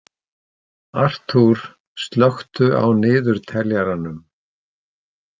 Arthúr, slökku á niðurteljaranum.